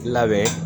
Labɛn